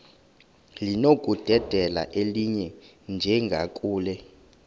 linokudedela elinye njengakule